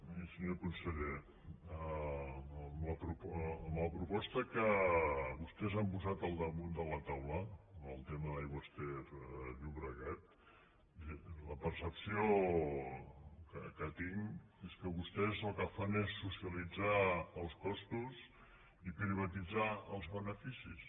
miri senyor conseller amb la proposta que vostès han posat al damunt de la taula amb el tema d’aigües ter llobregat la percepció que tinc és que vostès el que fan és socialitzar els costos i privatitzar els beneficis